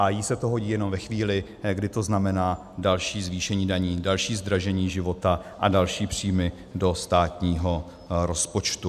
A jí se to hodí jenom ve chvíli, kdy to znamená další zvýšení daní, další zdražení života a další příjmy do státního rozpočtu.